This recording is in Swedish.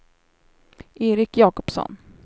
Erik Jakobsson